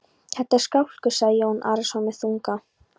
Þetta er skálkur, sagði Jón Arason með þunga.